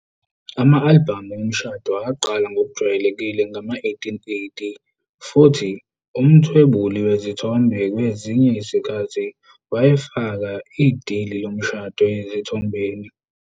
Ama-albhamu omshado aqala ukujwayelekile ngawo-1880, futhi umthwebuli wezithombe ngezinye izikhathi wayefaka idili lomshado ezithombeni.